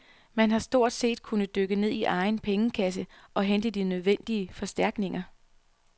Man har stort set kunnet dykke ned i egen pengekasse og hente de nødvendige forstærkninger.